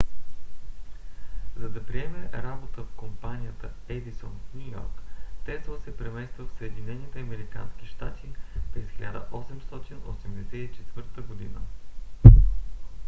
за да приеме работа в компанията едисон в ню йорк тесла се премества в съединените американски щати през 1884 година